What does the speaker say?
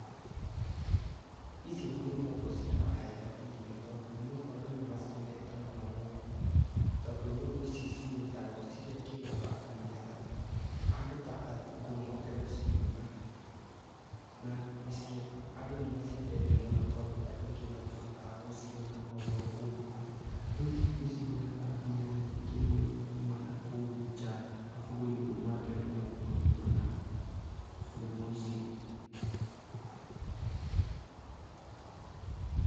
Ici nĩ nũgũ ciraheo irio tondũ andũ nĩmaciendete mũno gũkũ tondũ cinyitagwo cigekĩrwo haandũ nĩgetha andũ ta athungũ moke gũciona na andũ nĩmaciendete mũno to andũ aingĩ matihotaga gũciona oroũguo rĩu nĩcirehaga mbia nyĩngĩ mũno kũma nakũũ nja magĩũka kũona nyamũ ici.